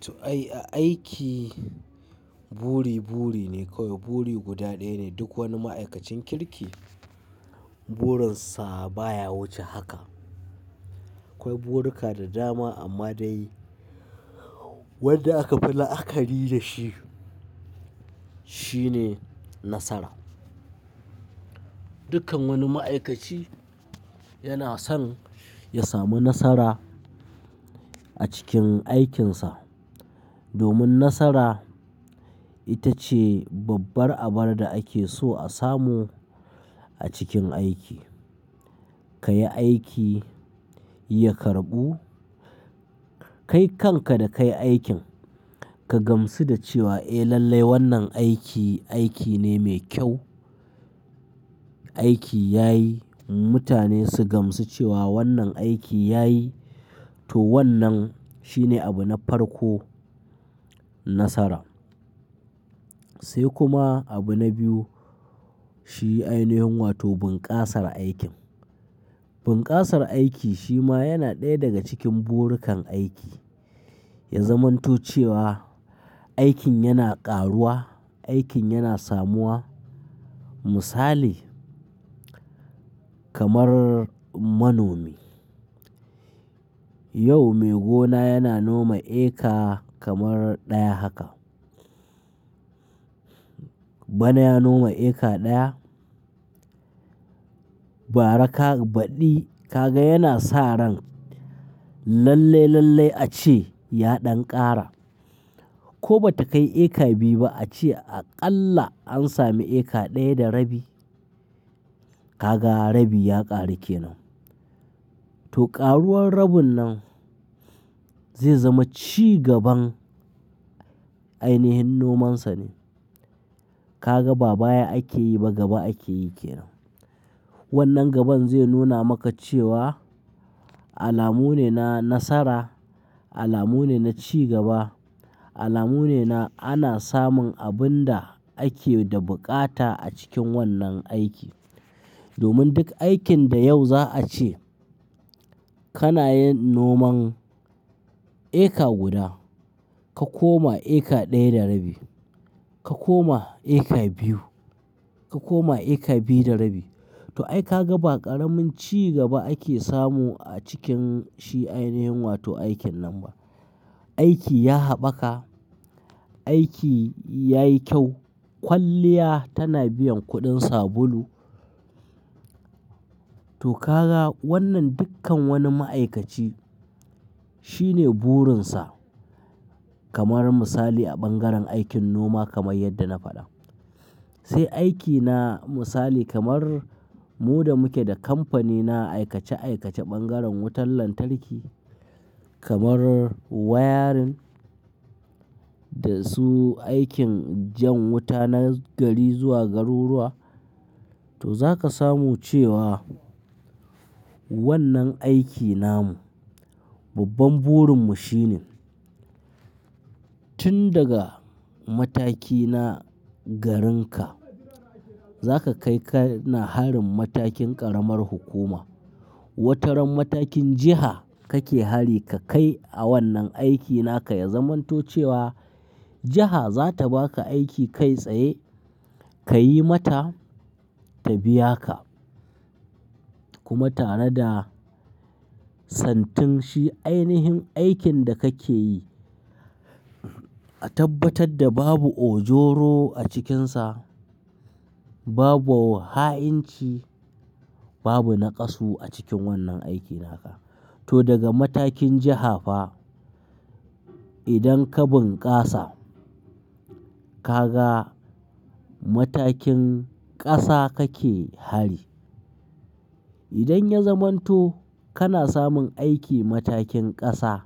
To ai, aiki buri buri ne kawai. Buri guda ɗaya ne duk wani ma'aikacin kirki burinsa baya wuce haka. Akwai buruka da dama amma dai wanda aka fi la'akari da shi shine nasara. Dukkan wani ma'aikaci yana son ya samu nasara a cikin aikinsa. Domin nasara ita ce babbar abar da ake so a samu a cikin aiki. Ka yi aiki, ya karɓu, kai kanka da kai aikin ka gamsu da cewa eh lallai wannan aiki, aiki ne mai kyau. Aiki ya yi, mutane su gamsu cewa wannan aiki ya yi, to wannan shine abu na farko nasara. Sai kuma abu na biyu shi ainihin wato bunkasar aikin. Bunkasar aiki shi ma yana ɗaya daga cikin burukan aiki. Ya zamanto cewa aikin yana ƙaruwa, aikin yana samuwa. Misali kamar manomi. Yau maigo na yana noma eka kamar ɗaya haka. Bana ya noma eka ɗaya. Bara ka baɗi ka ga yana sa ran lalle, lalle ace ya ɗan ƙara. Ko bata kai eka biyu ba ace aƙalla an sami eka ɗaya da rabi. Ka ga rabi ya ƙaru kenan. To ƙaruwar rabin nan zai zama cigaban ainihin nomansa ne. Ka ga ba baya ake yi ba gaba ake yi kenan. Wannan gaban zai nuna maka cewa alamu ne na nasara, alamu ne na cigaba, alamu ne na ana samun abun da ake da buƙata a cikin wannan aiki. Domin duk aikin da yau za a ce kana yin noman eka guda, ka koma eka ɗaya da rabi, ka koma eka biyu, ka koma eka biyu da rabi. To ai ka ga ba ƙaramin cigaba ake samu a cikin shi ainihin wato aikin nan ba. Aiki ya haɓaka, aiki ya yi kyau. Kwalliya tana biyan kuɗin sabulu. To ka ga wannan dukkan wani ma'aikaci shine burinsa kamar misali a bangaren aikin noma kamar yadda na faɗa. Sai aiki na misali kamar mu da muke da kamfani na aikace aikace bangaren wutar lantarki kamar wayarin da su aikin jan wuta na gari zuwa garuruwa. To za ka samu cewa wannan aiki namu, babban burinmu shine tun daga mataki na garinka za ka kai ka na harin matakin ƙaramar hukuma. Wataran matakin jiha kake hari ka kai a wannan aiki naka ya zamanto cewa jiha za ta baka aiki kai tsaye ka yi mata ta biya ka. Kuma tare da santin shi ainihin aikin da kake yi a tabbatar da babu ojoro a cikinsa, babu ha'inci, babu naƙasu a cikin wannan aiki naka. To daga matakin jiha fa idan ka bunkasa, ka ga matakin ƙasa kake hari. Idan ya zamanto kana samun aiki matakin ƙasa,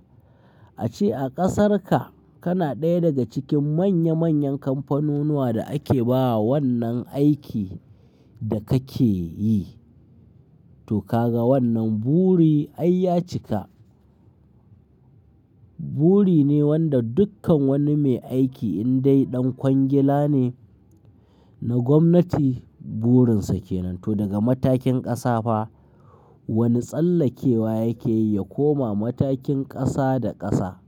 ace a ƙasarka kana ɗaya daga cikin manya manyan kamfanunuwa da ake ba wannan aiki da kake yi. To ka ga wannan buri ai ya cika. Buri ne wanda dukkan wani mai aiki in dai ɗan kwangila ne na gwamnati burinsa ke nan. To daga matakin ƙasa fa wani tsallakewa yake yi ya koma matakin ƙasa da ƙasa.